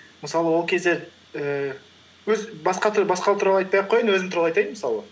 мысалы ол кезде ііі өз басқалар туралы айтпай ақ қояйын өзім туралы айтайын мысалы